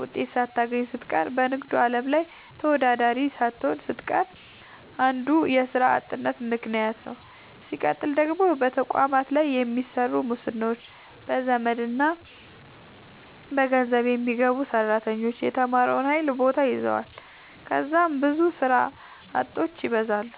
ውጤት ሳታገኝ ስትቀር በንግዱ አለም ላይ ተወዳዳሪ ሳትሆን ስትቀር አንዱ የስራ አጥነት ምከንያት ነዉ። ስቀጥል ደግሞ በየተቋማቱ ላይ በሚሰሩ ሙስናዎች፣ በዘመድና በገንዘብ የሚገቡ ሰራተኞች የተማረውን ኃይል ቦታ ይዘዋል ከዛም ብዙ ስራ አጦች ይበዛሉ።